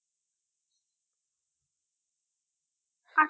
আচ্ছা